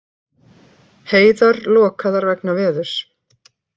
Heiðar lokaðar vegna veðurs